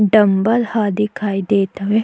Dumbbell ह दिखाई देत हवे।